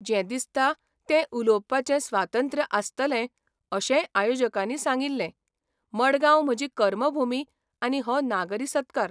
जें दिसतां तें उलोवपाचें स्वातंत्र्य आसतलें अशें आयोजकांनी सांगिल्लें मडगांव म्हजी कर्मभुमी आनी हो नागरी सत्कार.